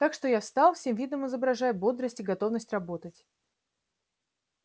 так что я встал всем видом изображая бодрость и готовность работать